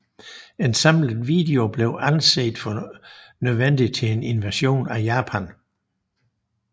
En samlet kommando blev anset for nødvendig til en invasion af Japan